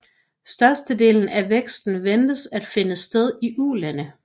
Størstedelen af væksten ventes at finde sted i Ulande